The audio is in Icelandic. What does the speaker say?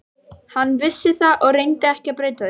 Hann vissi það og reyndi ekki að breyta því.